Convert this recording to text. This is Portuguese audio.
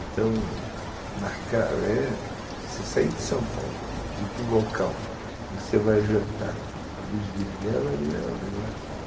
Então, você sair de São Paulo e ir para o local que você vai jantar à luz de velas é um negócio...